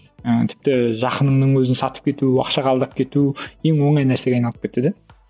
ыыы тіпті жақыныңның өзін сатып кету ақшаға алдап кету ең оңай нәрсеге айналып кетті де